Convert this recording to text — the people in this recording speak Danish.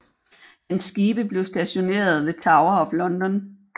Hans skibe blev stationeret ved Tower of London